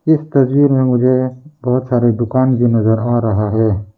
इस तस्वीर में मुझे बहोत सारे दुकान भी नजर आ रहा है।